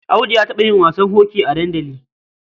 Audu ya taɓa yin wasan hoki a dandali.